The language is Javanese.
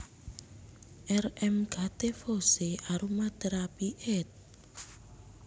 R M Gattefossé Aromatherapy éd